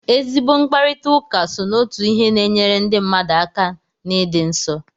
Ezigbo mkparịtaụka so n'otu ihe na-enyere ndị mmadu aka n'ịdị nsọ.